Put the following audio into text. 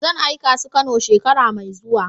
Zan aika su kanow shekara mai zuwa.